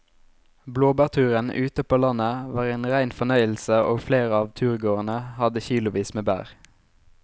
Blåbærturen ute på landet var en rein fornøyelse og flere av turgåerene hadde kilosvis med bær.